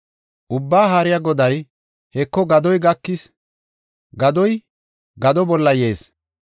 Ubbaa Haariya Goday, “Heko, gadoy gakis; gadoy gado bolla yees.